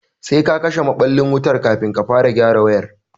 Sai ka kashe maɓallin wutan kafin ka fara gyara wayar